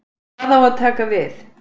Hvað á að taka við?